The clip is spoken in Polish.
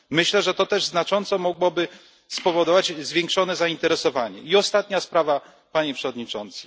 Myślę, że to też znacząco mogłoby spowodować zwiększone zainteresowanie. I ostatnia sprawa, Panie Przewodniczący.